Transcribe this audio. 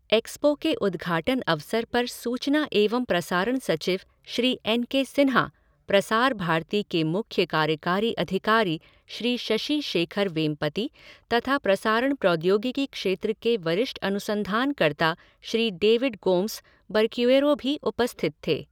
Expo के उद्घाटन अवसर पर सूचना एंव प्रसारण सचिव श्री एन के सिन्हा, प्रसार भारती के मुख्य कार्यकारी अधिकारी श्री शशि शेखर वेमपति तथा प्रसारण प्रौद्योगिकी क्षेत्र के वरिष्ठ अनुसंधानकर्ता श्री डेविड गोम्ज बरक्यूऐरो भी उपस्थित थे।